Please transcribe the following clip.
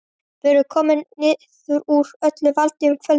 Við vorum komnir niður úr öllu valdi um kvöldið.